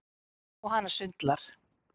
Og hana sundlar.